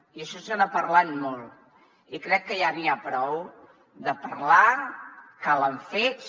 i d’això se n’ha parlat molt i crec que ja n’hi ha prou de parlar calen fets